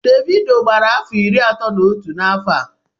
Davido gbara afọ iri atọ na otu n'n'afọ a